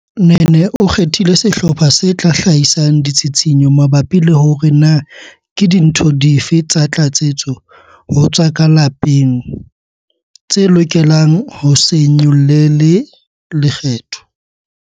Nene o kgethile sehlopha se tla hlahisang ditshitshinyo mabapi le hore na ke dintho dife tsa tlatsetso ho tsa ka lapeng tse lokelang ho se nyollelwe lekgetho.